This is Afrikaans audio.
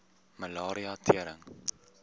malaria tering